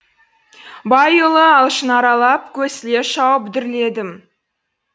байұлы алшын аралап көсіле шауып дүрледім